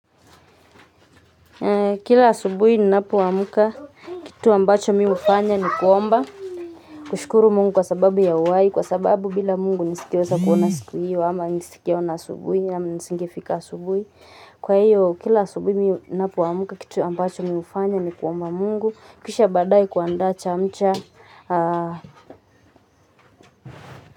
Kila asubuhi ninapoamka kitu ambacho mi hufanya ni kuomba kushukuru Mungu kwa sababu ya uhai kwa sababu bila Mungu nisingeweza kuona siku hiyo ama nisingeona asubuhi au nisingefika asubuhi kwa hiyo kila asubuhi mi ninapoamka kitu ambacho mi hufanya ni kuomba Mungu kisha baadaye kuandaa chamcha.